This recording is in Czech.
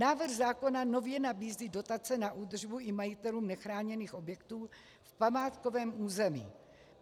Návrh zákona nově nabízí dotace na údržbu i majitelům nechráněných objektů v památkovém území.